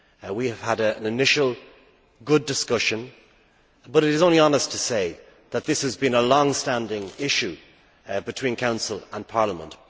We have had a good initial discussion, but it is only honest to say that this has been a long standing issue between Council and Parliament.